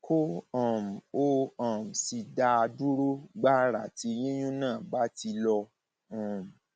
kó um o um sì dá a dúró gbàrà tí yíyún náà bá ti lọ um